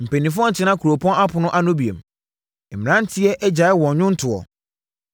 Mpanimfoɔ ntena kuropɔn apono ano bio; mmeranteɛ agyae wɔn nnwontoɔ.